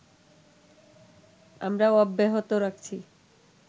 আমরা অব্যাহত রাখছি